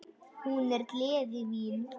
Hún er gleði mín.